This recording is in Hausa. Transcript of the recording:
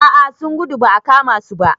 A a sun gudu ba a kama su ba.